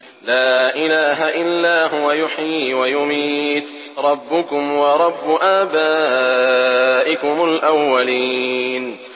لَا إِلَٰهَ إِلَّا هُوَ يُحْيِي وَيُمِيتُ ۖ رَبُّكُمْ وَرَبُّ آبَائِكُمُ الْأَوَّلِينَ